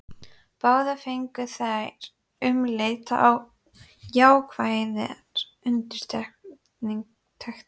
Báðar fengu þær umleitanir jákvæðar undirtektir.